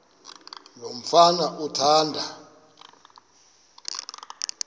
lo mfana athanda